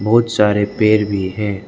बहुत सारे पेड़ भी है।